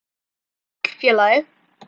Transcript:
Sæll, félagi